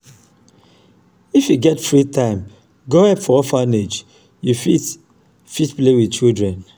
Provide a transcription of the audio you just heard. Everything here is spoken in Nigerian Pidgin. if you get free time go help for orphanage you fit fit play wit children.